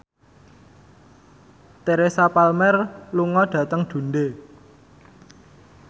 Teresa Palmer lunga dhateng Dundee